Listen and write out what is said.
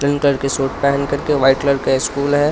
Green colour के suit पहेन कर के व्हाइट कलर का स्कूल है.